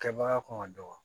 Kɛbaga kun ka dɔgɔ